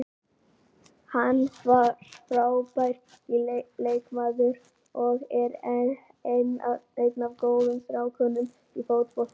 Hann var frábær leikmaður og er einn af góðu strákunum í fótboltanum.